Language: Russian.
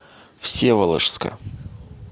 всеволожска